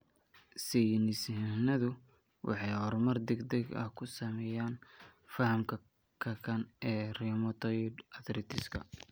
Saynis yahanadu waxay horumar degdeg ah ku samaynayaan fahamka kakan ee rheumatoid arthritis-ka.